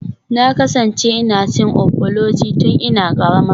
Na kasance ina cin ofuloju tun ina karama.